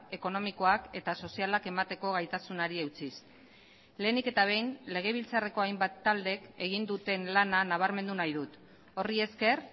ekonomikoak eta sozialak emateko gaitasunari eutsiz lehenik eta behin legebiltzarreko hainbat taldek egin duten lana nabarmendu nahi dut horri esker